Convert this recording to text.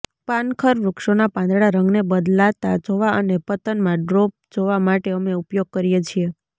પાનખર વૃક્ષોના પાંદડા રંગને બદલાતા જોવા અને પતનમાં ડ્રોપ જોવા માટે અમે ઉપયોગ કરીએ છીએ